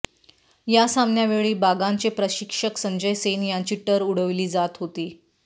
या सामन्यावेळी बागानचे प्रशिक्षक संजय सेन यांची टर उडविली जात होती